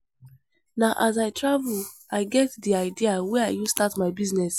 Na as I travel I get di idea wey I use start my business.